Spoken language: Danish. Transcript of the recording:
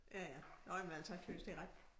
Ja ja nåh jamen jeg tøs det er ret